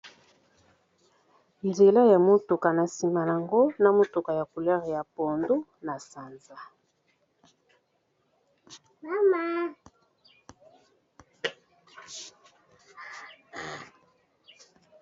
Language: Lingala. Nzela ya motuka na nsima nango na motuka ya couleur ya pondu na sanza.